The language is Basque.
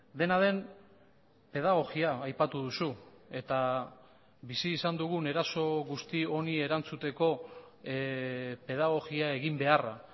dena den pedagogia aipatu duzu eta bizi izan dugun eraso guzti honi erantzuteko pedagogia egin beharra